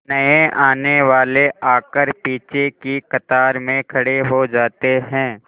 नए आने वाले आकर पीछे की कतार में खड़े हो जाते हैं